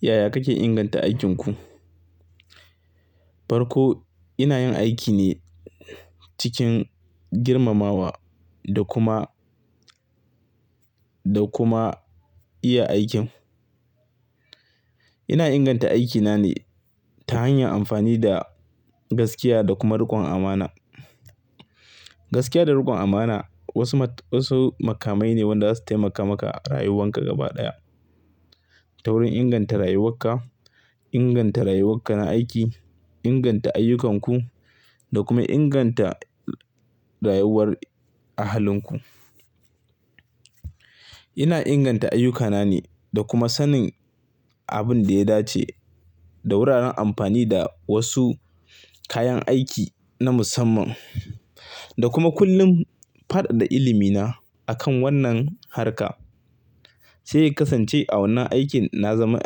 Yaya kake inganta aikin ku? Farko ina yin aiki ne cikin girmamawa da kuma, da kuma iya aikin. Ina inganta aikina ne ta hanyar amfani da gaskiya da kuma rikon amana. Gaskiya da rikon amana wasu mat-- wasu makamai ne wanda zasu taimaka maka a rayuwanka gaba ɗaya. Ta wurin inganta rayuwarka, inganta rayuwarka na aiki, inganta ayyukanku da kuma inganta rayuwar ahalinku. Ina inganta ayyukana ne da kuma sanin abin da ya dace da wuraren amfani da wasu kayan aiki na musamman da kuma kullum fadada ilimina akan wannan harka. Sai ya kasance a wannan aikin na zama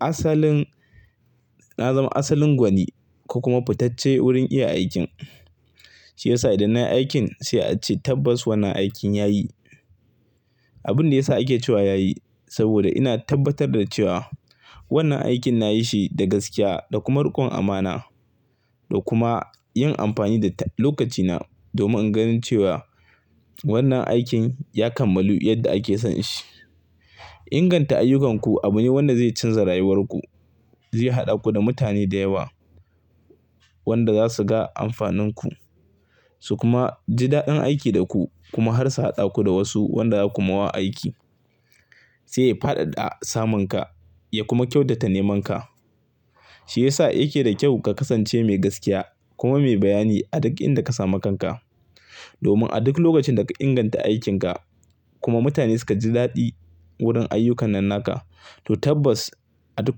asalin, na zama asalin gwani ko kuma fitacce wurin iya aikin. Shi yasa idan nai aikin sai a ce tabbas wannan aikin yayi. Abin da ya sa ake cewa yayi saboda ina tabbatar da cewa wannan aikin nayi shi da gaskiya da kuma rikon amana da kuma yin amfani da ta-- lokacina domin in gan cewa wannan aikin ya kammalu yadda ake son shi. Inganta ayyukanku abu ne wanda zai canza rayuwarku, zai haɗa ku da mutane da yawa wanda za su ga amfaninku su kuma ji daɗin aiki da ku kuma har su haɗa ku da wasu wanda za ku ma wa aiki. Sai ya fadada samunka ya kuma kyautata nemanka. Shi yasa yake da kyau ka kasance mai gaskiya kuma mai bayani a duk inda ka samu kanka. Domin a duk lokacin da ka inganta aikinka kuma mutane suka ji daɗi wurin ayyukan nan naka, to tabbas a duk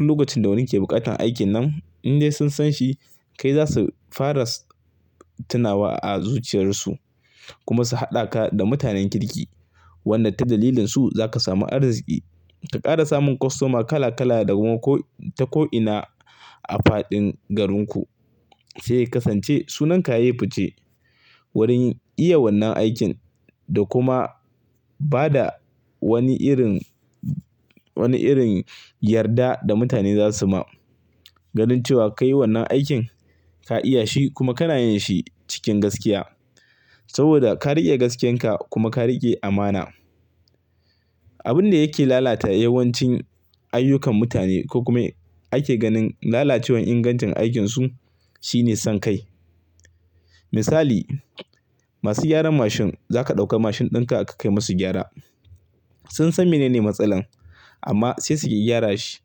lokacin da wani ke buƙatar aikin nan in dai sun san shi kai za su fara tunawa a zuciyarsu kuma su haɗa ka da mutanen kirki. Wanda ta dalilinsu za ka samu arziki ka ƙara samun kostoma kala kala da kuma ko-- ta ko'ina a faɗin garinku. Sai ya kasance sunan ka yayi fice wurin iya wannan aikin da kuma ba da wani irin, wani irin yarda da mutane za su ma. Ganin cewa kai wannan aikin, ka iya shi kuma kana yin shi cikin gaskiya. Saboda ka riƙe gaskiyan ka kuma ka riƙe amana. Abin da yake lalata yawancin ayyukan mutane ko kuma ake ganin lalacewan ingancin aikinsu shine son kai. Misali, masu gyaran mashin za ka ɗauka mashin ɗinka ka kai masu gyara. Sun san menene matsalan amma sai suki gyara shi.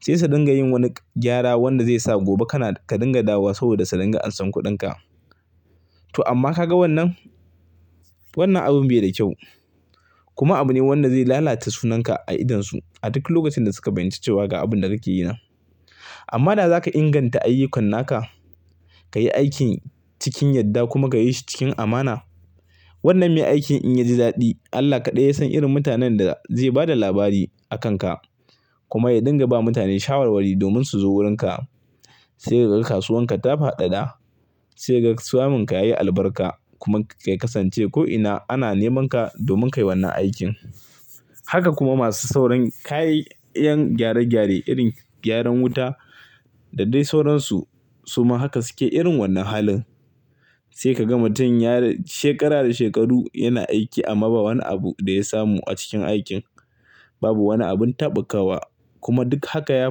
Sai su dinga yin wani gyara wanda zai sa gobe kana ka dinga dawowa saboda su dinga ansan kuɗinka. To amma ka ga wannan? Wannan abun bai da kyau kuma abu ne wanda zai lalata sunanka a idonsu a duk lokacin da suka fahinci cewa ga abin da kake yi nan. Amma da za ka inganta ayyukan naka, ka yi aikin cikin yadda kuma ka yi shi cikin amana. Wannan mai aikin in ya ji daɗi Allah kaɗai ya san irin mutanen da zai bada labari a kan ka. Kuma ya dinga ba mutane shawarwari domin su zo wurinka. Sai ka ga kasuwan ka ta fadada, sai ka ga samunka yayi albarka kuma kai kasance ko'ina ana neman ka domin ka yi wannan aikin. Haka kuma masu sauran kayyan gyare gyare irin gyaran wuta da dai sauransu suma haka suke irin wannan halin. Sai ka ga mutum ya shekara da shekaru yana aiki amma ba wani abu da ya samu a cikin aikin. Babu wani abin taɓukawa kuma duk haka ya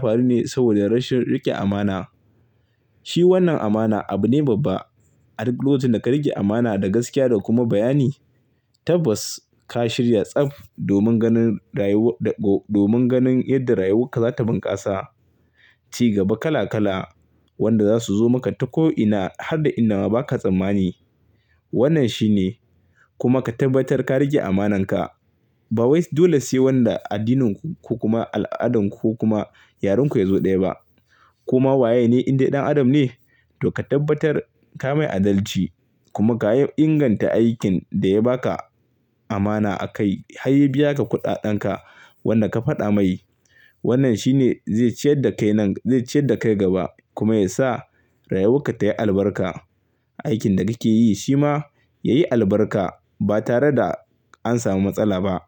faru ne saboda rashin riƙe amana. Shi wannan amana abu ne babba. A duk lokacin da ka riƙe amana da gaskiya da kuma bayani, tabbas ka shirya tsaf domin ganin rayuwar da ko-- domin ganin yadda rayuwarka za ta bunƙasa. Ci gaba kala kala wanda za su zo maka ta ko'ina har da inda ma ba ka tsammani. Wannnan shi ne. Kuma ka tabbatar ka riƙe amananka. Ba wai dole sai wanda addininku ko kuma al'adanku ko kuma yarin ku ya zo ɗaya ba. Koma waye ne in dai ɗan adam ne? To ka tabbatar ka mai adalci kuma ka inganta aikin da ya ba ka amana a kai har ya biya ka kuɗaɗen ka wanda ka faɗa mai. Wannan shi ne zai ciyar da kai nan-- zai ciyar da kai gaba kuma ya sa rayuwarka tayi albarka. Aikin da kake yi shi ma yayi albarka ba tare da an samu matsala ba.